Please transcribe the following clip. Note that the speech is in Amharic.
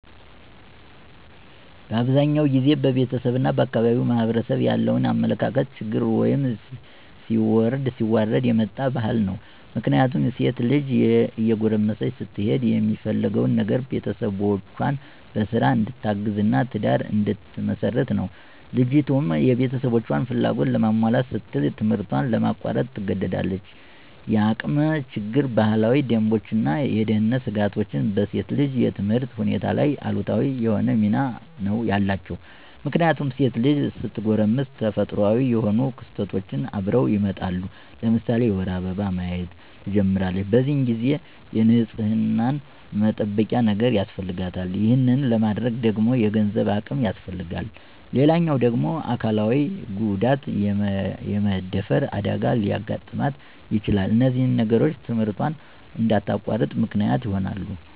በአብዛኛው ጊዜ በቤተሰብ እና በአካባቢው ማህበረሰብ ያለ የአመለካከት ችግር ወይም ሲወርድ ሲዋረድ የመጣ ባህል ነው። ምክንያቱም ሴት ልጅ እየጎረመሰች ስትሄድ የሚፈለገው ነገር ቤተሰቦቿን በስራ እንድታግዝ እና ትዳር እንድትመሰርት ነው። ልጅቱም የቤተሰቦቿን ፍላጎት ለማሟላት ስትል ትምህርቷን ለማቋረጥ ትገደዳለች። የአቅም ችግር፣ ባህላዊ ደንቦች እና የደህንነት ስጋቶች በሴት ልጅ የትምህርት ሁኔታ ላይ አሉታዊ የሆነ ሚና ነው ያላቸው። ምክንያቱም ሴት ልጅ ስትጎረምስ ተፈጥሮአዊ የሆኑ ክስተቶች አብረው ይመጣሉ። ለምሳሌ የወር አበባ ማየት ትጀምራለች። በዚህ ጊዜ የንፅህና መጠበቂያ ነገር ያስፈልጋታል። ይሄን ለማድረግ ደግሞ የገንዘብ አቅም ያስፈልጋታል። ሌላው ደግሞ አካላዊ ጉዳት( የመደፈር አደጋ) ሊያጋጥማት ይችላል። እነዚህ ነገሮች ትምህርቷን እንድታቋርጥ ምክንያት ይሆናሉ።